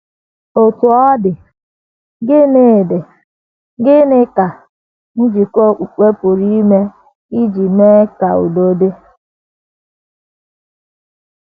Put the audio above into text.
Otú ọ dị, gịnị dị, gịnị ka njikọ okpukpe pụrụ ime iji mee ka udo dị?